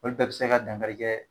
Olu bɛɛ be se ka dankari kɛ